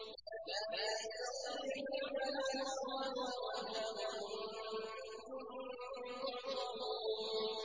لَا يَسْتَطِيعُونَ نَصْرَهُمْ وَهُمْ لَهُمْ جُندٌ مُّحْضَرُونَ